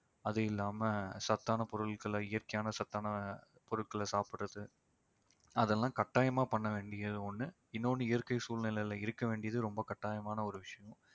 அது இல்லாம சத்தான பொருட்கள்ல இயற்கையான சத்தான பொருட்களை சாப்பிடுறது அதெல்லாம் கட்டாயமா பண்ண வேண்டியது ஒண்ணு இன்னொன்னு இயற்கை சூழ்நிலையில இருக்க வேண்டியது ரொம்ப கட்டாயமான ஒரு விஷயம்